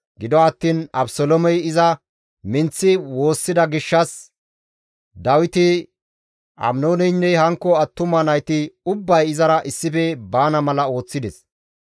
Gido attiin Abeseloomey iza minththi woossida gishshas Dawiti Aminooneynne hankko attuma nayti ubbay izara issife baana mala ooththides.